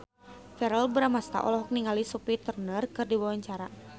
Verrell Bramastra olohok ningali Sophie Turner keur diwawancara